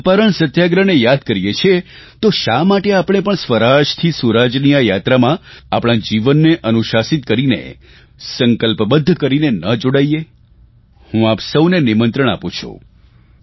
ચંપારણ સત્યાગ્રહને યાદ કરીએ છીએ તો શા માટે આપણે પણ સ્વરાજથી સુરાજની આ યાત્રામાં આપણા જીવનને અનુશાસિત કરીને સંકલ્પબદ્ધ કરીને ન જોડાઇએ હું આપ સહુને નિમંત્રણ આપું છું